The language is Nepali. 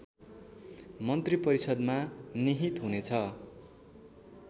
मन्त्रिपरिषदमा निहित हुनेछ